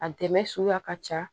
A dɛmɛ suguya ka ca